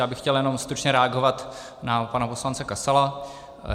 Já bych chtěl jenom stručně reagovat na pana poslance Kasala.